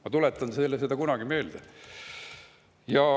Ma tuletan teile seda kunagi meelde.